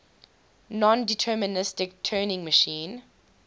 nondeterministic turing machine